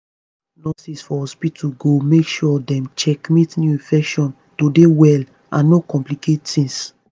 nurses for hospitu go make sure dem checkmate new infection to dey well and no complicate tings